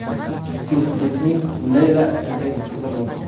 Juftlikning Leyla ismli qizi bor.